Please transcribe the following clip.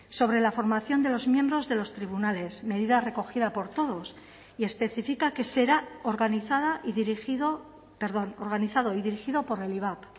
sobre la formación de los miembros de los tribunales medida recogida por todos y especifica que será organizada y dirigido perdón organizado y dirigido por el ivap